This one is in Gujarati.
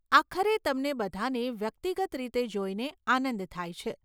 આખરે તમને બધાને વ્યક્તિગત રીતે જોઈને આનંદ થાય છે.